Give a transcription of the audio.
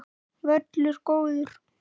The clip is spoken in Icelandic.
Völlur góður.